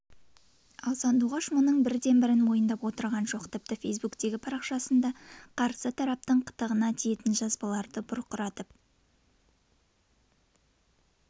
ал сандуғаш мұның бірде-бірін мойындап отырған жоқ тіпті фейсбуктегі парақшасында қарсы тараптың қытығына тиетін жазбаларды бұрқыратып